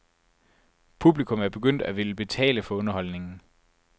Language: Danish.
Publikum er begyndt at ville betale for underholdningen.